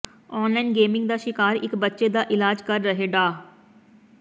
online gaming ਦਾ ਸ਼ਿਕਾਰ ਇਕ ਬੱਚੇ ਦਾ ਇਲਾਜ ਕਰ ਰਹੇ ਡਾ